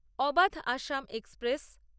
Avadh Assam express